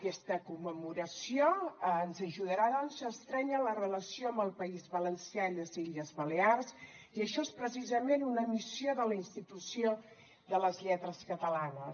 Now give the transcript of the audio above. aquesta commemoració ens ajudarà doncs a estrènyer la relació amb el país valencià i les illes balears i això és precisament una missió de la institució de les lletres catalanes